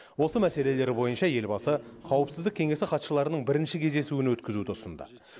осы мәселелер бойынша елбасы қауіпсіздік кеңесі хатшыларының бірінші кездесуін өткізуді ұсынды